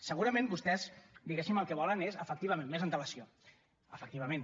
segurament vostès diguéssim el que volen és efectivament més antelació efectivament